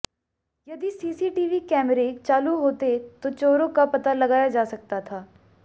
यदि सीसीटीवी कैमरे चालू होते तो चोरों का पता लगाया जा सकता था